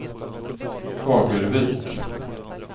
Fagervik